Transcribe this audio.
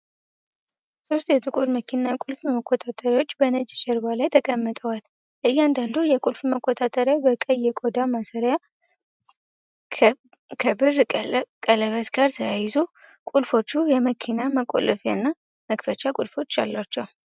ሶስት የጥቁር መኪና ቁልፍ መቆጣጠሪያዎች በነጭ ጀርባ ላይ ተቀምጠዋል። እያንዳንዱ የቁልፍ መቆጣጠሪያ በቀይ የቆዳ ማሰሪያ ከብር ቀለበት ጋር ተያይዟል። ቁልፎቹ የመኪና መቆለፍያና መክፈቻ ቁልፎች አሏቸው።